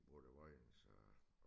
Var det Vojens og